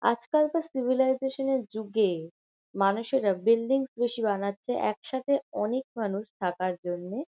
আজকালকার সিভিলাইজেশন -এর যুগে মানুষেরা বিল্ডিং বেশি বানাচ্ছে একসাথে অনেক মানুষ থাকার জন্যে।